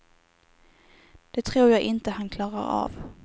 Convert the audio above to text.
Det tror jag inte han klarar av.